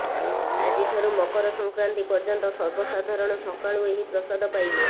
ଆଜିଠାରୁ ମକର ସଂକ୍ରାନ୍ତି ପର୍ଯ୍ୟନ୍ତ ସର୍ବସାଧାରଣ ସକାଳୁ ଏହି ପ୍ରସାଦ ପାଇବେ